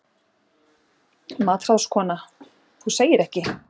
MATRÁÐSKONA: Þú segir ekki!